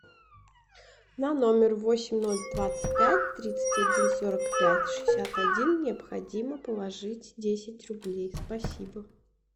на номер восемь ноль двадцать пять тридцать один сорок пять шестьдесят один необходимо положить десять рублей спасибо